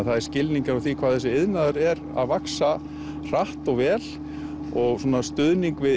er skilningur á því hvað þessi iðnaður er að vaxa hratt og vel og stuðning við